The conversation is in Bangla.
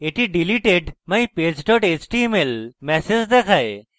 এটি deleted: mypage html ম্যাসেজ দেখায়